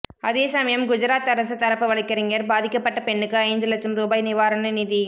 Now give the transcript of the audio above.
அதே சமயம் குஜராத் அரசு தரப்பு வழக்கறிஞர் பாதிக்கப்பட்ட பெண்ணுக்கு ஐந்து லட்சம் ரூபாய் நிவாரண நிதி